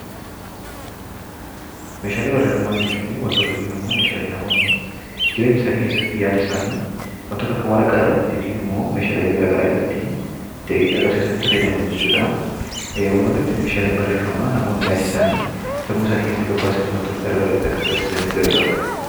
Meeshaalee barreeffamaa jechuun, waantota yookiin Meeshaalee namoonni bara jireenya isaanii keessatti yaada isaanii waantota akka waraqaa irratti yookiin immoo waanta biroo itti fayyaman jechuudha. Walumaa galatti Meeshaalee barreeffamaa namoonni yaada isaanii sammuu isaanii keessaa gad baasanii akka agarsiisaniif nu gargaaranidha.